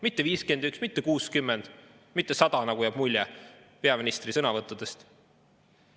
Mitte 51, mitte 60, mitte 100, nagu jääb mulje peaministri sõnavõttudest.